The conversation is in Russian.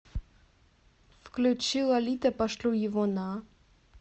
включи лолита пошлю его на